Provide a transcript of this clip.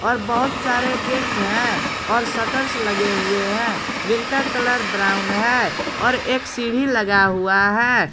और बहुत सारे गेट है और शटर्स लगे हुए हैं जिनका कलर ब्राउन है और एक सीढ़ी लगा हुआ है।